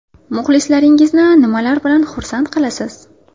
Muxlislaringizni nimalar bilan xursand qilasiz?